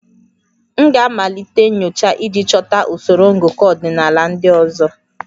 M ga-amalite nyocha iji chọta usoro ngụkọ ọdịnala ndị ọzọ